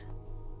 Heç vaxt.